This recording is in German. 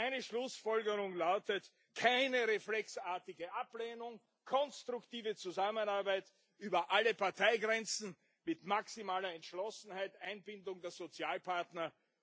Also, meine Schlussfolgerung lautet keine reflexartige Ablehnung, konstruktive Zusammenarbeit über alle Parteigrenzen mit maximaler Entschlossenheit, Einbindung der Sozialpartner.